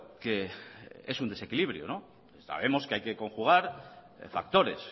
que es un desequilibrio sabemos que hay que conjugar factores